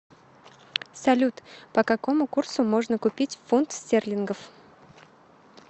салют по какому курсу можно купить фунт стерлингов